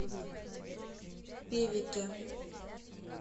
певеке